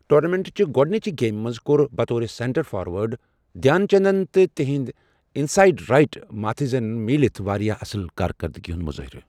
ٹورنامنٹچہ گۄڈنِچہِ گیمہِ منٛز کوٚر بطور سینٹر فاروٲرڈ دھیان چندن تہٕ تِہندۍ اِنسایڈ رایٹ مارتھینزن مِلِتھ واریاہ اصل کارکردٕگی ہُنٛد مظٲہرٕ۔